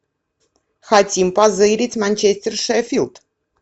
хотим позырить манчестер шеффилд